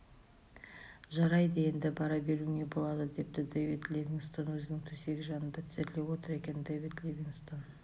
жарайды енді бара беруіңе болады депті дэвид ливингстон өзінің төсегі жанында тізерлеп отыр екен дэвид ливингстон